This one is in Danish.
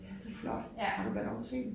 Det er så flot har du været oppe og se dem?